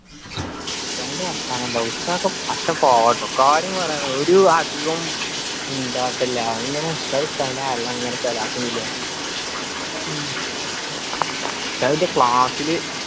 ന്റെ വർത്താനം. ഉസ്താദോക്കെ പച്ചപ്പാവാട്ടോ കാര്യം പറയാല ഒരു വാ അധികം മുണ്ടാട്ടോ ഇല്ല ഇങ്ങന ഉസ്താദ് ല് ഇങ്ങനെ സലാത്തും ചൊല്ലി ആടിക്കും ഉസ്താദിന്റെ class ല്